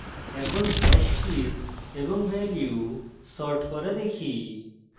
এখন hash keys এবং value sort করা দেখি